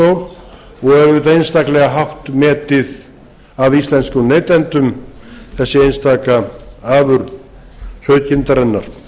ræðustól og auðvitað einstaklega hátt metið af íslenskum neytendum þessi einstaka afurð sauðkindarinnar